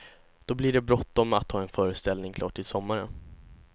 Då blir det bråttom att ha en föreställning klar till sommaren.